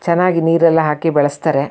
ಚೆನ್ನಾಗಿ ನೀರ್ ಎಲ್ಲ ಹಾಕಿ ಬೆಳೆಸ್ತಾರೆ.